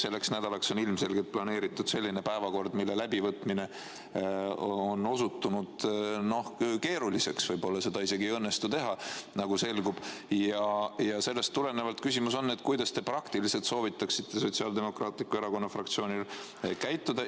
Selleks nädalaks on ilmselgelt planeeritud selline päevakord, mille läbivõtmine on osutunud keeruliseks, võib-olla seda isegi ei õnnestu teha, nagu selgub, ja sellest tulenevalt on mu küsimus, kuidas te praktiliselt soovitaksite Sotsiaaldemokraatliku Erakonna fraktsioonil käituda.